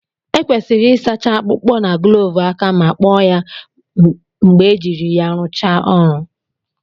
Ekwesịrị ịsacha akpụkpọ na gloovu aka ma kpọọ ya mgbe ejiri ya rụchaa ọrụ